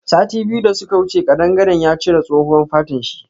Sati biyu da suka wuce kadangaren ya cire tsohuwan fatan shi.